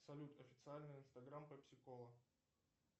салют официальный инстаграм пепси кола